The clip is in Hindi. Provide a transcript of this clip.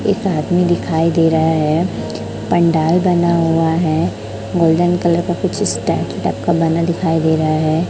एक आदमी दिखाई दे रहा है पंडाल बना हुआ है गोल्डन कलर का इस स्टैचू टाइप का बना दिखाई दे रहा है।